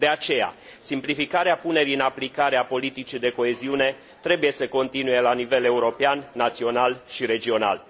De aceea, simplificarea punerii în aplicare a politicii de coeziune trebuie să continue la nivel european, național și regional.